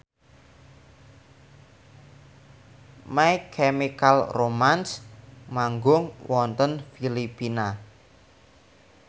My Chemical Romance manggung wonten Filipina